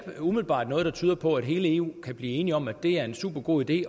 umiddelbart noget der tyder på at hele eu kan blive enig om at det er en supergod idé